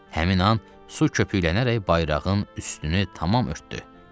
Həmin an su köpüklənərək bayrağın üstünü tamam örtdü.